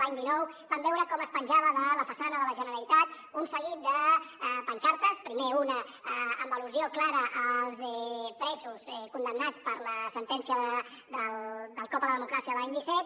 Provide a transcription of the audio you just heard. l’any dinou vam veure com es penjava de la façana de la generalitat un seguit de pancartes primer una amb al·lusió clara als presos condemnats per la sentència del cop a la democràcia de l’any disset